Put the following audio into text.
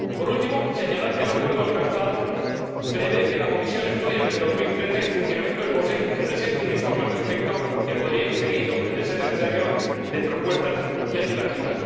Por último, quiero señalar que el acuerdo alcanzado prevé que la Comisión estudie en 2013 el funcionamiento del POSEI y presente un informe al respecto, que podría ir seguido, de ser necesario, de propuestas legislativas.